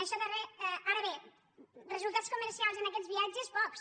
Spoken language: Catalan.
ara bé resultats comercials en aquests viatges pocs